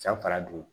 San fara don